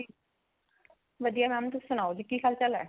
ਵਧੀਆ mam ਤੁਸੀਂ ਸਨਾਓ ਜੀ ਕੀ ਹਾਲ ਚਾਲ ਹੈ